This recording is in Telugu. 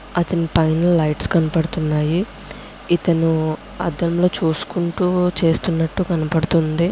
అతని పైన లైట్స్ కనబడుతున్నాయి. ఇతను అద్దంలో చూసుకుంటూ చేస్తున్నట్టు కనబడుతుంది.